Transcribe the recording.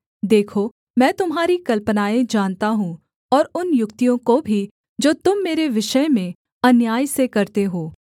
देखो मैं तुम्हारी कल्पनाएँ जानता हूँ और उन युक्तियों को भी जो तुम मेरे विषय में अन्याय से करते हो